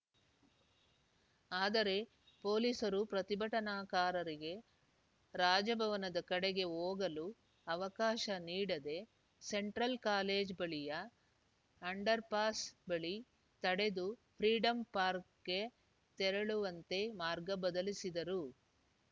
ಆದರೆ ಪೊಲೀಸರು ಪ್ರತಿಭಟನಾಕಾರರಿಗೆ ರಾಜಭವನದ ಕಡೆಗೆ ಹೋಗಲು ಅವಕಾಶ ನೀಡದೆ ಸೆಂಟ್ರಲ್‌ ಕಾಲೇಜು ಬಳಿಯ ಅಂಡರ್‌ಪಾಸ್‌ ಬಳಿ ತಡೆದು ಫ್ರೀಡಂ ಪಾರ್ಕ್ಗೆ ತೆರಳುವಂತೆ ಮಾರ್ಗ ಬದಲಿಸಿದರು